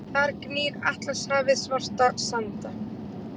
Þar gnýr Atlantshafið svarta sanda.